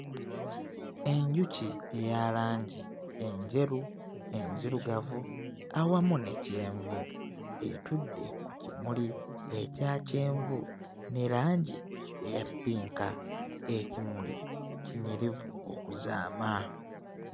Enjuki eya langi enjeru, enzirugavu, awamu ne kyenvu etudde ku kimuli ekya kyenvu ne langi eya ppinka. Ekimuli kinyirivu okuzaama.